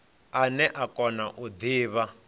ane a kona u divha